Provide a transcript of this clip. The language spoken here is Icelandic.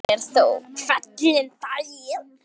Hún er þó hvergi bangin.